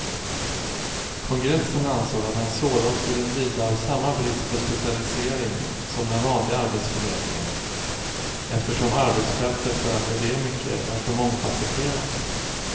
Kongressen ansåg att en sådan skulle lida av samma brist på specialisering som den vanliga arbetsförmedlingen, eftersom arbetsfältet för akademiker är så mångfasetterat.